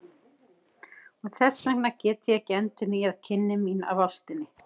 Og þess vegna get ég ekki endurnýjað kynni mín af ástinni.